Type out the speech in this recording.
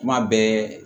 Kuma bɛɛ